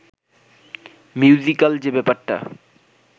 musical যে ব্যাপারটা